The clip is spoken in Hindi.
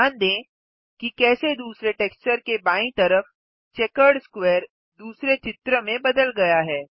ध्यान दें कि कैसे दूसरे टेक्सचर के बायीं तरफ चेकर्ड स्क्वेयर दूसरे चित्र में बदल गया है